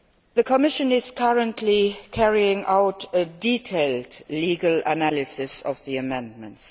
The Commission is currently carrying out a detailed legal analysis of the amendments.